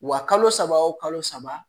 Wa kalo saba wo kalo saba